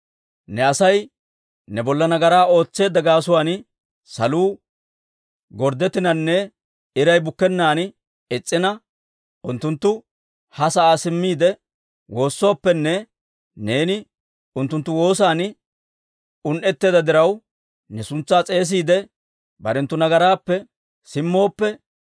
«Ne Asay ne bolla nagaraa ootseedda gaasuwaan saluu gorddettinanne iray bukkennaan is's'ina, unttunttu ha sa'aa simmiide, woossooppenne neeni unttunttu woosan un"etseedda diraw, ne suntsaa s'eesiide, barenttu nagaraappe simmooppe,